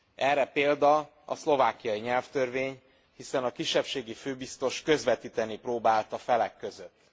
Erre példa a szlovákiai nyelvtörvény, hiszen a kisebbségi főbiztos közvetíteni próbált a felek között.